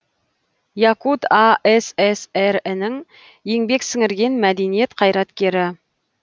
якут асср інің еңбек сіңірген мәдениет қайраткері